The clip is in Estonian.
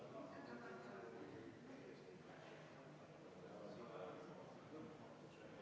Palun EKRE fraktsiooni nimel panna muudatusettepanek hääletusele ja enne teha ka kümme minutit vaheaega.